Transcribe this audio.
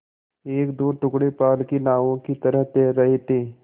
एकदो टुकड़े पाल की नावों की तरह तैर रहे थे